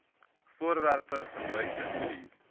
voorwerpe gebruikte olie